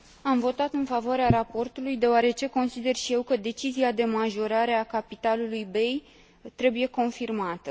Am votat în favoarea raportului deoarece consider și eu că decizia de majorare a capitalului BEI trebuie confirmată.